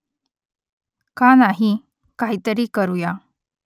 का नाही ? काहीतरी करुया